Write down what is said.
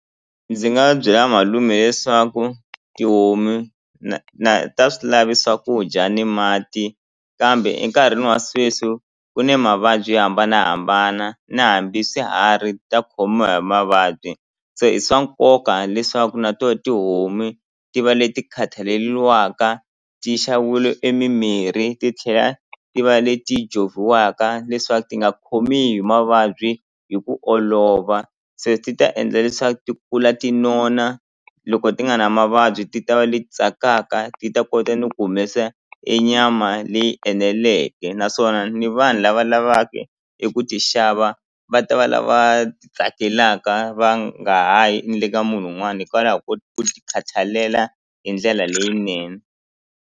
Ndzi nga byela malume leswaku tihomu na na ta swilave swakudya ni mati kambe enkarhini wa sweswi ku ni mavabyi yo hambanahambana na hambi swiharhi ta khomiwa hi mavabyi se i swa nkoka leswaku na to tihomu ti va leti khathaleliwaka ti emimirhi ti tlhela ti va leti leswaku ti nga khomi hi mavabyi hi ku olova se ti ta endla leswaku ti kula ti nona loko ti nga na mavabyi ti ta va leti tsakaka ti ta kota ni ku humesa e nyama leyi eneleke naswona ni vanhu lava va lavaka eku ti xava va ta va lava ti tsakelaka va nga ha yi ni le ka munhu wun'wani hikwalaho ko ti ku ti khathalela hi ndlela leyinene.